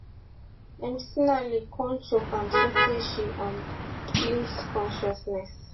mcinally kon choke am sotay she um lose consciousness